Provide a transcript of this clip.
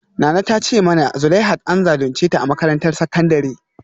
Nana ta ce mana zuleihat an zalunce ta a makarantar sakandare